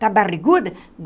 Está barriguda?